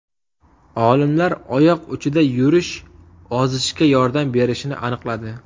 Olimlar oyoq uchida yurish ozishga yordam berishini aniqladi.